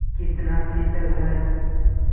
कितना शीतल है